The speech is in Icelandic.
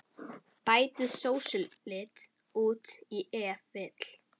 Bætið sósulit út í ef vill.